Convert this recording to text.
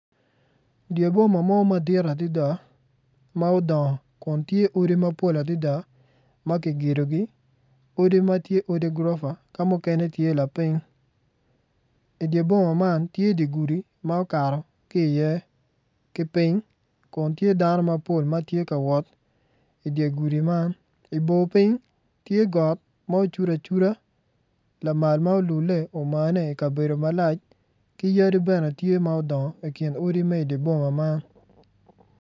Dye boma mo madit adida ma udongo kun tye odi mapol adida ma kigedogi odi ma tye odi gurofa ka mukene tye lapiny i dye boma man tye gudi ma okato ki iye ki piny kun tye dano ma tye ka wot i dye gudi man i bor piny tye got ma ocudu acuda lamal ma olulle ma omane i kabedo malac ki yadi bene tye ma udongo i kin odi me di boma man